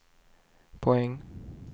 poäng